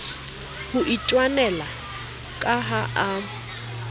ho itwanela ka ha a